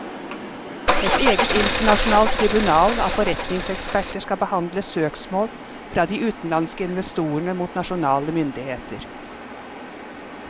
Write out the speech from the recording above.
Et eget internasjonalt tribunal av forretningseksperter skal behandle søksmål fra de utenlandske investorene mot nasjonale myndigheter.